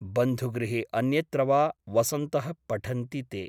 बन्धुगृहे अन्यत्र वा वसन्तः पठन्ति ते ।